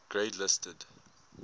grade listed